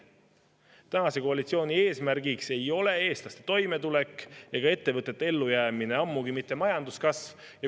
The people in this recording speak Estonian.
Tänase koalitsiooni eesmärk ei ole eestlaste toimetulek ega ettevõtete ellujäämine, ammugi mitte majanduskasv.